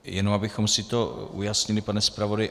Jenom abychom si to ujasnili, pane zpravodaji.